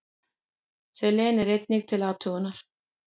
Selen er einnig til athugunar.